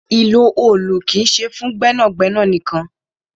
Ìlò òòlù kì í ṣe fún iṣẹ́ gbẹ́nàgbẹ́nà nìkan.